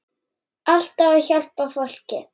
Alltaf að hjálpa fólki.